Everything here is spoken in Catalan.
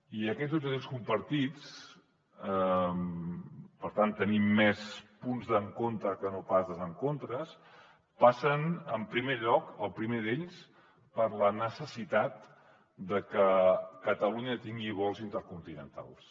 i aquests objectius compartits per tant tenim més punts d’encontre que no pas desencontres passen en primer lloc el primer d’ells per la necessitat de que catalunya tingui vols intercontinentals